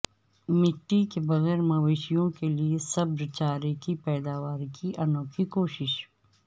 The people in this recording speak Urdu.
مٹی کے بغیر مویشیوں کے لیے سبز چارہ کی پیداوار کی انوکھی کوشش